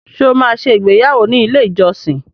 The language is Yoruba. Ṣé o máa ṣe ìgbéyàwọ́ ní ilé-ìjọsìn?